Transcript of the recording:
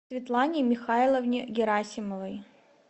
светлане михайловне герасимовой